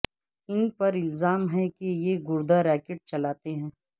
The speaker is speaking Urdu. انپر الزام ہے کہ یہ گردہ ریکیٹ چلاتے ہیں